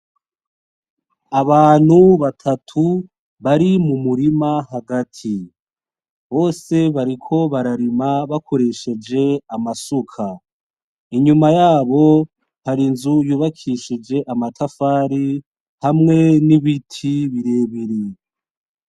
Abantu batatu bari mu murima hagati, bose bariko bararima bakoresheje amasuka, inyuma yabo hari inzu yubakishije amatafari, hamwe n'ibiti birebire.